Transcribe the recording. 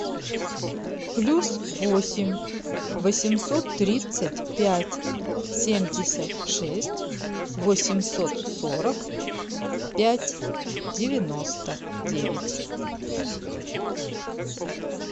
плюс восемь восемьсот тридцать пять семьдесят шесть восемьсот сорок пять девяносто девять